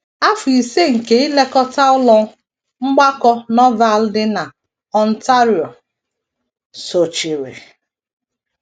Afọ ise nke ilekọta Ụlọ Mgbakọ Norval dị na Ontario, sochiri.